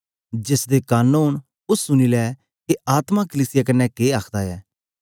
जेसदे कन ओंन ओ सुनी ले के आत्मा कलीसिया कन्ने के आखदा ऐ